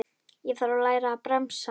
Ég þarf að læra að bremsa.